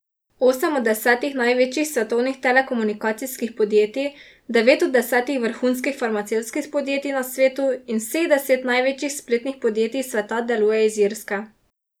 Osem od desetih največjih svetovnih telekomunikacijskih podjetij, devet od desetih vrhunskih farmacevtskih podjetij na svetu in vseh deset največjih spletnih podjetij sveta deluje iz Irske.